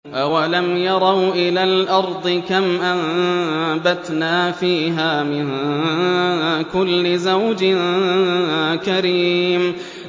أَوَلَمْ يَرَوْا إِلَى الْأَرْضِ كَمْ أَنبَتْنَا فِيهَا مِن كُلِّ زَوْجٍ كَرِيمٍ